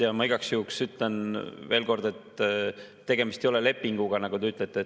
Ja ma igaks juhuks ütlen, et tegemist ei ole lepinguga, nagu te ütlesite.